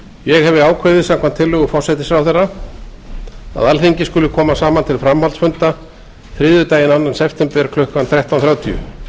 ég hefi ákveðið samkvæmt tillögu forsætisráðherra að alþingi skuli koma saman til framhaldsfunda þriðjudaginn annan september klukkan þrettán þrjátíu